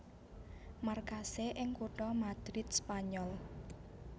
Markasé ing kutha Madrid Spanyol